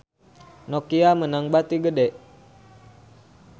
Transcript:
Nokia meunang bati gede